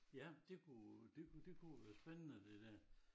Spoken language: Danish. Ja det kunne det kunne det kunne være spændende det dér